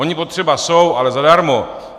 Oni potřeba jsou, ale zadarmo!